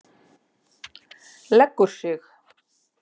Leggur sig.